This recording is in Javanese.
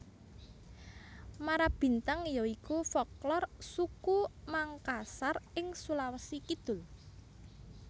Marabintang ya iku folklor suku Mangkasar ing Sulawesi Kidul